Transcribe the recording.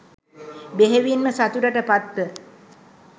බෙහෙවින්ම සතුටට පත්ව,